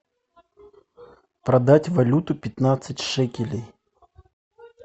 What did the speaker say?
продать валюту пятнадцать шекелей